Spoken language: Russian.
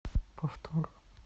повтор